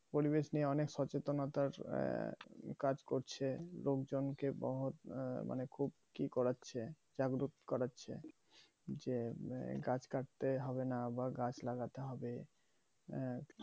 পরিবেশ নিয়ে অনেক সচেতনতার কাজ করছে লোকজনকে বহুত আহ মানে খুব কি করাচ্ছে জাগ্রত করাচ্ছে যে গাছ কাটতে হবে না বা গাছ লাগাতে হবে আহ